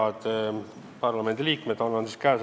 Head parlamendiliikmed!